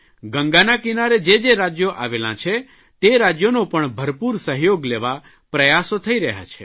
ગંગાના કિનારે જે જે રાજયો આવેલાં છે તે રાજયોનો પણ ભરપૂર સહયોગ લેવા પ્રયાસો થઇ રહ્યા છે